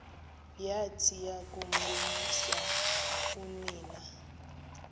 yathi yakuboniswa unina